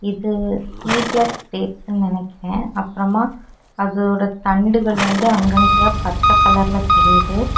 இது seedless dates னு நெனைக்கேன் அப்புறமா அதோட தண்டுகள் வந்து அங்கங்கையா பச்சை கலர்ல தெரியிது.